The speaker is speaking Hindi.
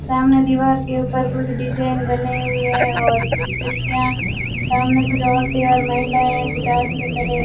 सामने दीवार के ऊपर कुछ डिजाइन बनाई हुई है और कुछ खिड़कियां सामने कुछ और तेवर महिलाएं कुछ आदमी खड़े --